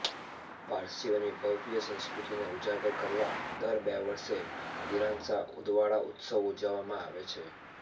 પારસીઓની ભવ્ય્ સંસ્કૃતિને ઉજાગર કરવા દર બે વર્ષે ઇરાનશાહ ઉદવાડા ઉત્સવ ઉજવવામાં આવે છે